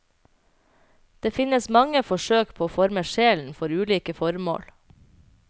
Det finnes mange forsøk på å forme sjelen for ulike formål.